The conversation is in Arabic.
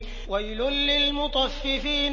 وَيْلٌ لِّلْمُطَفِّفِينَ